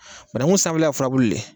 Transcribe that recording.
bananku sanfɛla ye furabulu de ye